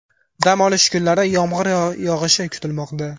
Dam olish kunlari yomg‘ir yog‘ishi kutilmoqda.